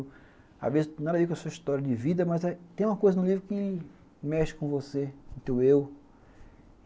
Às vezes nada a ver com a sua história de vida, mas tem uma coisa no livro que mexe com você, com o teu eu.